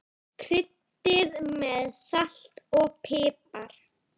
Kryddið með salti og pipar.